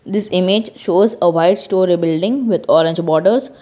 this image shows a white storey building with orange borders.